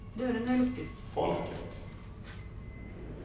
folket